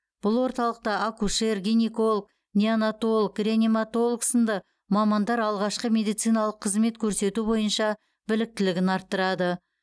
бұл орталықта акушер гинеколог неонатолог реаниматолог сынды мамандар алғашқы медициналық қызмет көрсету бойынша біліктілігін арттырады